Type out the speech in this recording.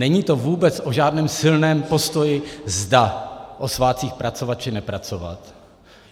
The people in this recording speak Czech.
Není to vůbec o žádném silném postoji, zda o svátcích pracovat, či nepracovat.